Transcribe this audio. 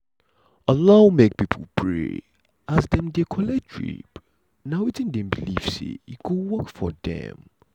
allow make pipo pray as dem dey dey collet drip na wetin dem believe say e go work for dem.